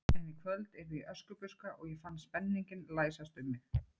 En í kvöld yrði ég Öskubuska og ég fann spenninginn læsast um mig.